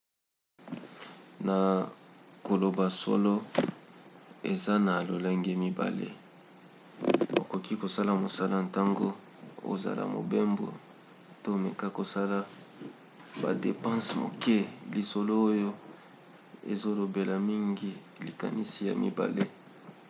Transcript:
na koloba solo eza na lolenge mibale: okoki kosala mosala ntango ozala mobembo to meka kosala badepanse moke. lisolo oyo ezolobela mingi likanisi ya mibale